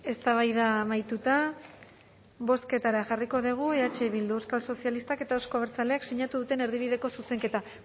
eztabaida amaituta bozketara jarriko dugu eh bildu euskal sozialistak eta euzko abertzaleek sinatu duten erdibideko zuzenketa